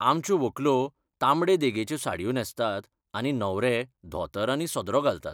आमच्यो व्हंकलो तांबडे देगेचे साडयो न्हेसतात आनी न्हवरे धोतर आनी सदरो घालतात.